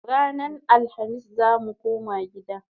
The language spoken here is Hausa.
Ranan Alhamis zamu koma gida